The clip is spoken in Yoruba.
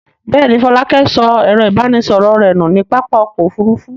Bẹ́ẹ̀ ni, Fọlákẹ́ sọ ẹ̀rọ-ìbánisọ̀rọ̀ rẹ̀ nù ní pápá ọkọ̀-òfurufú.